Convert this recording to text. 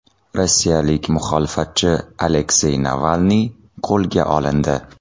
Rossiyalik muxolifatchi Aleksey Navalniy qo‘lga olindi.